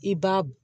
I b'a